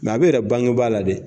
a bɛ yira bangebaa la dɛ